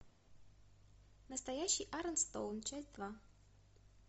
настоящий арон стоун часть два